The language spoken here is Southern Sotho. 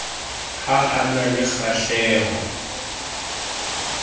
ha a na le kgahleho